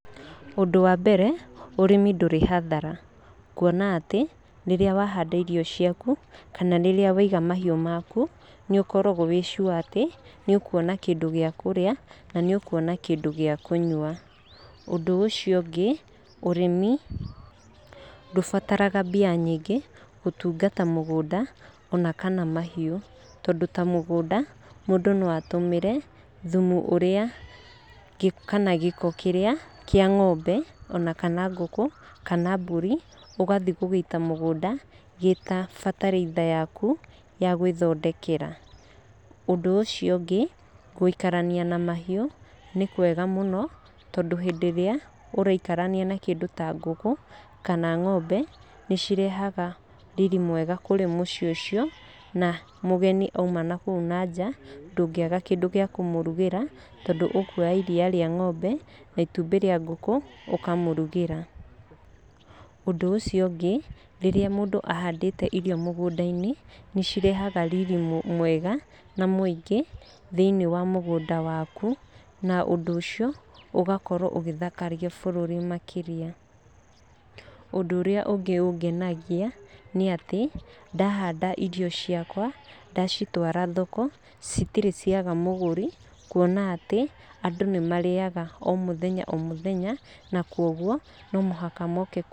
Ũndũ wa mbere, ũrĩmi ndũrĩ hathara. Kuona atĩ, rĩrĩa wahanda irio ciaku kana rĩrĩa waiga mahiũ maku, nĩ ũkoragwo wĩ sure atĩ, nĩ ũkuona kĩndũ gĩa kũrĩa, na nĩ ũkuona kĩndũ gĩa kũnyua. Ũndũ ũcio ũngĩ, ũrĩmi ndũbataraga mbia nyingĩ gũtungata mũgũnda ona kana mahiũ. Tondũ ta mũgũnda mũndũ no atũmĩre thumu ũrĩa, kana gĩko kĩrĩa kĩa ng'ombe ona kana kũngũ kana mbũri, ũgathiĩ gũgĩita mũgũnda gĩ ta bataraitha yaku ya gwĩthondekera. Ũndũ ũcio ũngĩ, gũikarania na mahiũ nĩ kwega mũno, tondũ hĩndĩ ĩrĩa ũraikarania na kĩndũ ta ngũkũ kana ng'ombe, nĩ cirehaga riri mwega kũrĩ mũciĩ ũcio. Na mũgeni oima na kũu na nja ndũngĩaga kĩndũ gĩa kũmũrugĩra tondũ ũkuoya iria rĩa ng'ombe na itũmbĩ rĩa ngũkũ ũkamũrugĩra. Ũndũ ũcio ũngĩ, rĩrĩa mũndũ ahandĩte irio mũgunda-inĩ nĩ cirehaga riri mwega na mũingĩ thĩiniĩ wa mũgunda waku, na ũndũ ũcio ugakorwo ũgĩthakaria bũrũri makĩria. Ũndũ ũrĩa ũngĩ ũngenagia nĩ atĩ, ndahanda irio ciakwa, ndacitwara thoko citirĩ ciaga mũgũri. Kuona atĩ andũ nĩ marĩaga o mũthenya o mũthenya na koguo no mũhaka moke kũgũra.